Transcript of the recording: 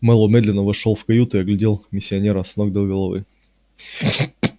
мэллоу медленно вошёл в каюту и оглядел миссионера с ног до головы